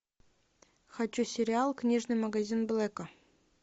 хочу сериал книжный магазин блэка